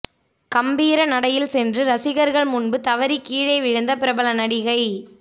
கம்பீர நடையில் சென்று ரசிகர்கள் முன்பு தவறி கீழே விழுந்த பிரபல நடிகை